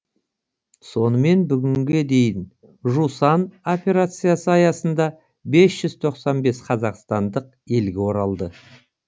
сонымен бүгінге дейін жусан операциясы аясында бес жүз тоқсан бес қазақстандық елге оралды